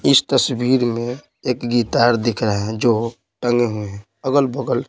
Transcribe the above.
इस तस्वीर में एक गीतार दिख रहा है जो टंगे हुए हैं अगल-बगल--